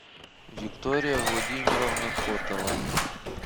виктория владимировна котова